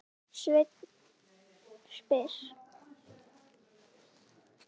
Sveinn spyr